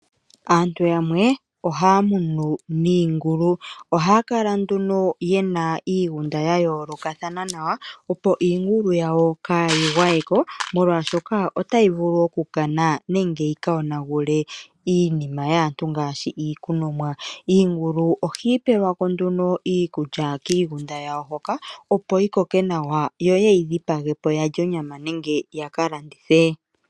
Aantu yamwe ohaa munu iingulu. Ohaa kala nduno yena iigunda ya yoolikathana nawa, opo iingulu yawo kaayi gwayeko, molwaashoka otayi vulu okukana nenge yika yonagule iinima yaantu ngaashi iikunomwa. Iingulu ohayi pelwa ko nduno iikulya kiigunda yawo hoka, opo yi koke nawa, yo ya wape okulya onyama nenge ya ka landithe.